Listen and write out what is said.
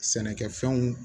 Sɛnɛkɛfɛnw